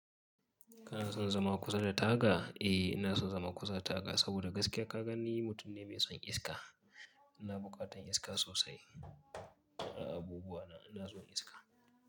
Kana son zama kusa da taga? Eh ina son zama kusa da taga, saboda gaskiya ka gani mutum ne mai son iska. Ina buƙatan iska sosai a abubuwa, ina son iska.